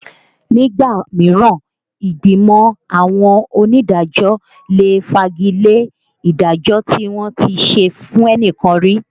Nígbà mìíràn ìgbìmọ̀ àwọn onídàájọ́ lè fagi lé ìdájọ́ tí wọ́n ti ṣe fẹ́nìkan rí